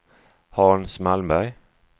Hans Malmberg